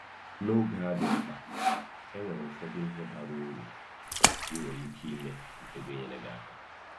N'oge a dị mkpa, e nwere ụfọdụ ihe bara uru ị nwere ike ime nke ga-enyere aka.